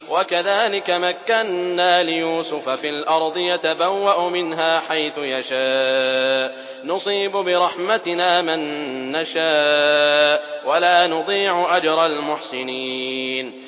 وَكَذَٰلِكَ مَكَّنَّا لِيُوسُفَ فِي الْأَرْضِ يَتَبَوَّأُ مِنْهَا حَيْثُ يَشَاءُ ۚ نُصِيبُ بِرَحْمَتِنَا مَن نَّشَاءُ ۖ وَلَا نُضِيعُ أَجْرَ الْمُحْسِنِينَ